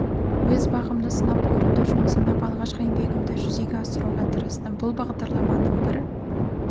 өз бағымды сынап көруді жөн санап алғашқы еңбегімді жүзеге асыруға тырыстым бұл бағдарламаның бір